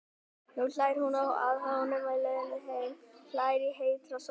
Nú hlær hún að honum á leiðinni heim, hlær í heitri sólinni.